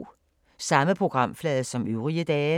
Samme programflade som øvrige dage